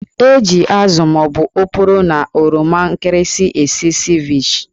Eji ázụ́ ma ọ bụ oporo na oroma nkịrịsị. esi Ceviche